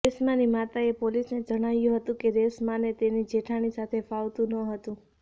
રેશ્માની માતાએ પોલીસને જણાવ્યું હતું કે રેશ્માને તેની જેઠાણી સાથે ફાવતું ન હતું